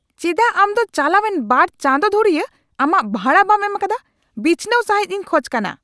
ᱪᱮᱫᱟᱜ ᱟᱢ ᱫᱚ ᱪᱟᱞᱟᱣᱮᱱ ᱒ ᱪᱟᱸᱫᱚ ᱫᱷᱩᱨᱤᱭᱟᱹ ᱟᱢᱟᱜ ᱵᱷᱟᱲᱟ ᱵᱟᱢ ᱮᱢᱟᱠᱟᱫᱟ ? ᱵᱤᱪᱷᱱᱟᱹᱣ ᱥᱟᱹᱦᱤᱫᱤᱧ ᱠᱷᱚᱡ ᱠᱟᱱᱟ ᱾